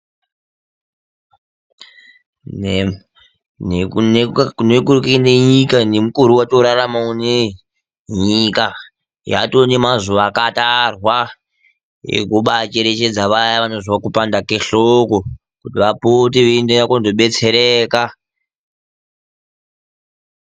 Nekune nyika ,nemukore watakurarama unoyi ,Nyika yatoo nemazuwa akatarwa ekubacherechedza vayana vanonzwe kupanda kwehloko vapote veienda kundobetsereka.